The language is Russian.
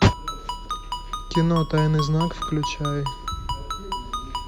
кино тайный знак включай